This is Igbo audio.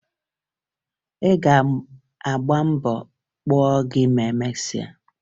Ị ga-agba mbọ ọkpa gị ma emesịa